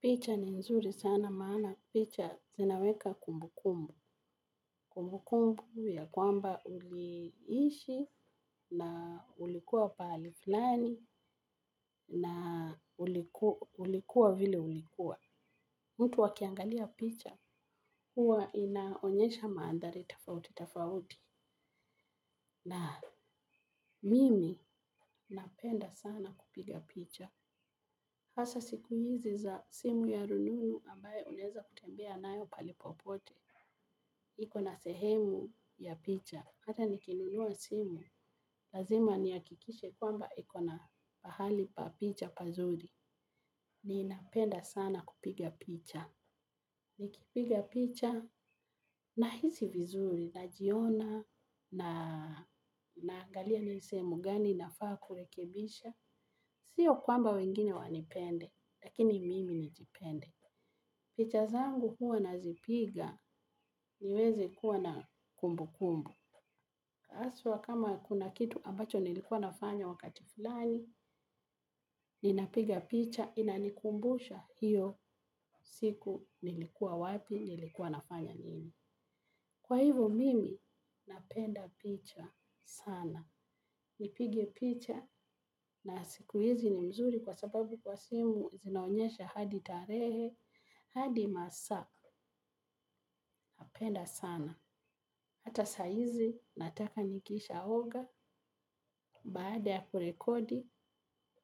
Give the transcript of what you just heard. Picha ni nzuri sana maana picha zinaweka kumbukumbu, kumbukumbu ya kwamba uliishi na ulikua pahali fulani na ulikuwa vile ulikuwa. Mtu akiangalia picha huwa inaonyesha maandhari tofauti tofauti na mimi napenda sana kupiga picha. Hasa siku hizi za simu ya rununu ambaye unaeza kutembea nayo pahali popote. Iko na sehemu ya picha. Hata nikinunua simu. Lazima ni hakikishe kwamba iko na pahali pa picha pazuri. Ni napenda sana kupiga picha. Nikipiga picha na hisi vizuri na jiona na naangalia nisehemu gani na faa kurekebisha. Sio kwamba wengine wanipende. Lakini mimi nijipende. Picha zangu huwa nazipiga niweze kuwa na kumbu kumbu. Haswa kama kuna kitu ambacho nilikuwa nafanya wakati fulani, ninapiga picha inanikumbusha hiyo siku nilikuwa wapi nilikuwa nafanya nini. Kwa hivo mimi napenda picha sana. Nipige picha na siku hizi ni mzuri kwa sababu kwa simu zinaonyesha hadi tarehe, hadi masaa, napenda sana. Hata saa hizi, nataka nikisha oga, baada ya kurekodi,